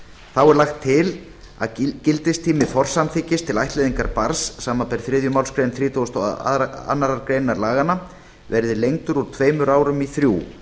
þá er lagt til að gildistími forsamþykkis til ættleiðingar barns samanber þriðju málsgrein þrítugustu og aðra grein laganna verði lengdur úr tveimur árum í þrjú